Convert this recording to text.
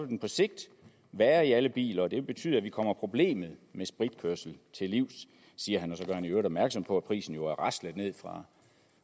den på sigt være i alle biler og det vil betyde at vi kommer problemet med spritkørsel til livs siger han og så gør han i øvrigt opmærksom på at prisen jo er raslet ned fra